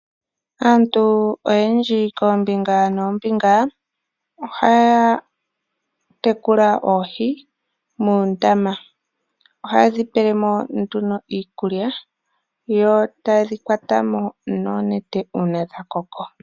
Aantu oyendji koombinga noombinga ohaya tekula oohi muundama. Ohaye dhi pele mo nduno iikulya, yo taye dhi kwata mo noonete uuna dha koko.